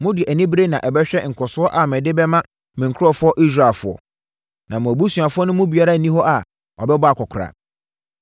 Mode anibereɛ na ɛbɛhwɛ nkɔsoɔ a mede bɛma me nkurɔfoɔ Israelfoɔ. Na mo abusuafoɔ no mu biara nni hɔ a ɔbɛbɔ akɔkoraa.